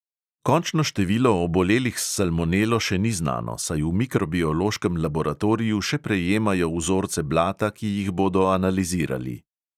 Končno število obolelih s salmonelo še ni znano, saj v mikrobiološkem laboratoriju še prejemajo vzorce blata, ki jih bodo analizirali.